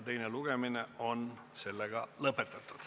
Teine lugemine on lõppenud.